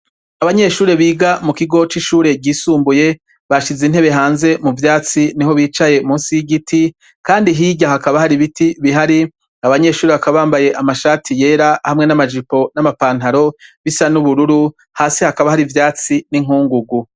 Abanyeshure biga mukigo c’ishure ryisumbuye ,bashize intebe hanze muvyatsi niho bicaye musi y’igiti, Kandi hirya hakaba har’ibiti bihari, abanyeshure bakaba bambaye amashati yera hamwe n’amajipo n’amapantaro bisa n’ubururu, Hadi hakaba har’ivyatsi n’inkungugu.